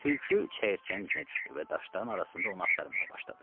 Tülkü çəyirtkənin izinə düşdü və daşların arasında onu axtarmağa başladı.